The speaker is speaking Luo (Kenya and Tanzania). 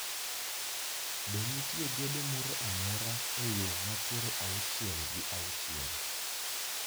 Be nitie gedo moro amora e yo ma piero auchiel gi auchiel?